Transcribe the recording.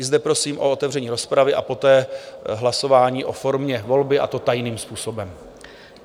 I zde prosím o otevření rozpravy a poté hlasování o formě volby, a to tajným způsobem.